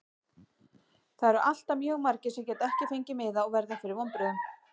Það eru alltaf mjög margir sem geta ekki fengið miða og verða fyrir vonbrigðum.